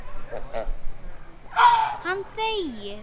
Hann þegir.